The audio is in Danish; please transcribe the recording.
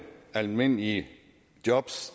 almindelige jobs